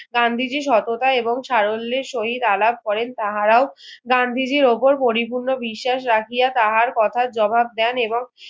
গান্ধীজির সততা এবং সারল্যের সহিত আলাপ করেন তাহারাও গান্ধীজির ওপর পরিপূর্ণ বিশ্বাস রাখিয়া তাহার কথা জবাব দেন এবং